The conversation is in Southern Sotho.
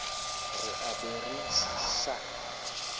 re a be re sa